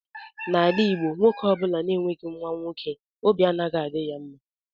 N'ala igbo nwoke ọbula na-enweghi nwa nwoke óbị anaghị adị ya mma.